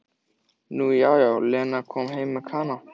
Nú já, jú, Lena kom heim með Kana.